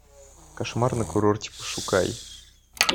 кошмар на курорте пошукай